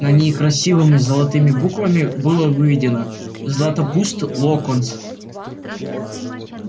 на ней красивыми золотыми буквами было выведено златопуст локонс